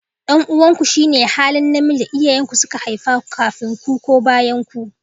Dan uwanku shine halin namiji da iyayen ku suka haifa kafin ku ko bayanku